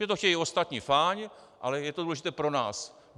Že to chtějí ostatní, fajn, ale je to důležité pro nás.